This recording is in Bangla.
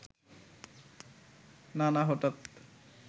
নানা হঠাৎ